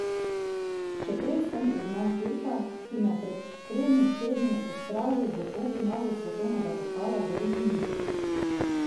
Še prej sem ugnal Turka, ki me je pred tremi tedni odpravil v polfinalu svetovnega pokala v Romuniji.